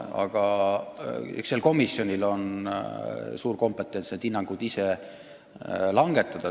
Aga sellel komisjonil on kompetents oma hinnangud ise langetada.